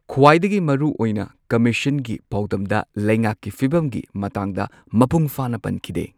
ꯈ꯭ꯋꯥꯏꯗꯒꯤ ꯃꯔꯨ ꯑꯣꯏꯅ ꯀꯝꯃꯤꯁꯟꯒꯤ ꯄꯥꯎꯗꯝꯗ ꯂꯩꯉꯥꯛꯀꯤ ꯐꯤꯕꯝꯒꯤ ꯃꯇꯥꯡꯗ ꯃꯄꯨꯡ ꯐꯥꯅ ꯄꯟꯈꯤꯗꯦ꯫